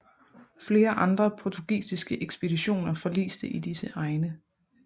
Flere andre portugisiske ekspeditioner forliste i disse egne